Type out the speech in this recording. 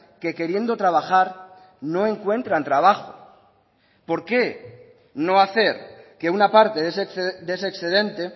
que queriendo trabajar no encuentran trabajo por qué no hacer que una parte de ese excedente